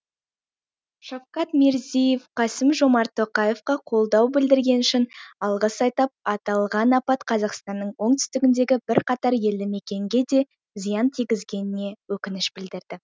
шавкат мирзеев қасым жомарт тоқаевқа қолдау білдіргені үшін алғыс айтып аталған апат қазақстанның оңтүстігіндегі бірқатар елді мекенге де зиян тигізгеніне өкініш білдірді